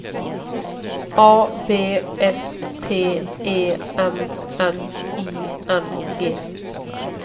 A V S T E M N I N G